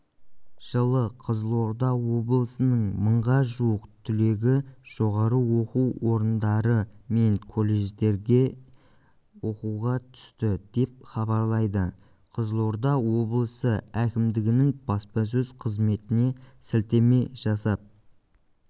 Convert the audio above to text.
жылы қызылорда облысының мыңға жуық түлегі жоғары оқу орындары мен колледждергеоқуға түсті деп хабарлайды қызылорда облысы әкімдігінің баспасөз қызметіне сілтеме жасап